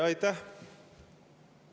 Aitäh!